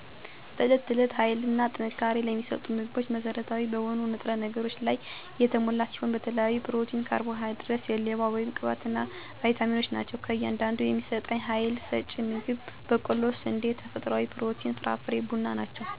በዕት ተዕለት ሀይልና ጥንካሬን ለሚሰጡ ምግቦች መሠረታዊ በሆኑ ንጥረ ነገሮች ላይ የተሞላ ሲሆን በተለይም ፕሮቲን ካርቦሃይድሬት ስሌዋ(ቅባት) እና ባይታሚኖች ናቸው። ከእያንዳንዱ የሚሰጠኝ ሐይል ሰጭ ምግብ በቆሎ ስንዴ ተፈጥሮዊ ፕሮቲን ፍራፍሬና ቡና ናቸው። አንዳድ ጊዜ የምግብ ፍላጎት ሲቀንስ የሐይል እጥረት ያጋጥማል።